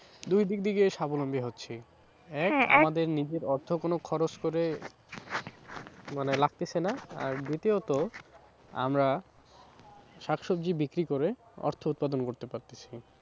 দুই দিক থেকে স্বাবলম্বী হচ্ছি হ্যাঁ এক আমাদের নিজেদের অর্থ কোনো খরচ করে মানে লাগতেছে না আর দ্বিতীয়ত আমরা শাকসবজি বিক্রি করে অর্থ উৎপাদন করতে পারতাছি।